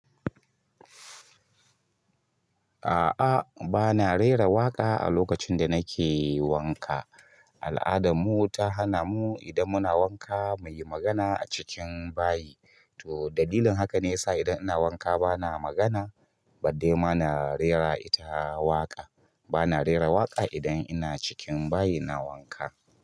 A'a, ba na rera waƙa a lokacin da nake wanka. Al'adar mu ta hana mu idan muna wanka mu yi magana a cikin bayi. To dalilin haka ne ya sa idan ina wanka ba na magana, baddai ma na rera ita waƙa. Ba na rera waƙa idan ina cikin bayi ina wanka.